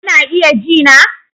Kuna iya ji na?